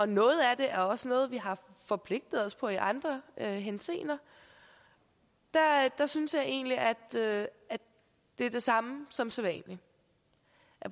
noget af det er også noget vi har forpligtet os til i andre henseender jeg synes egentlig at det er det samme som sædvanlig